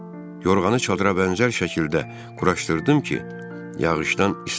Yorğanı çadıra bənzər şəkildə quraşdırdım ki, yağışdan islanmayım.